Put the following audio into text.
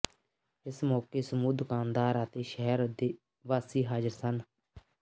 ਇਸ ਮੌਕੇ ਸਮੂਹ ਦੁਕਾਨਦਾਰ ਅਤੇ ਸ਼ਹਿਰ ਵਾਸੀ ਹਾਜ਼ਰ ਸਨ